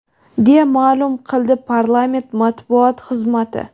deya maʼlum qildi parlament matbuot xizmati.